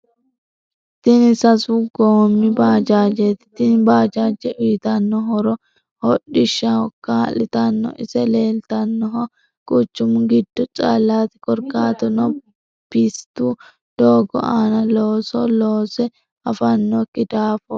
Tinni sasu goomi bajajeti Tini bajaje uyiitano horro hodhishshaho kaalitano ise leelitanoho quchumu giddo callati korikaatuno pisitu doogo aana looso loose afanoki daafoti.